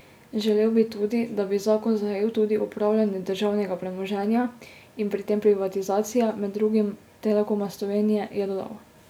Želel bi tudi, da bi zakon zajel tudi upravljanje državnega premoženja in pri tem privatizacije, med drugim Telekoma Slovenije, je dodal.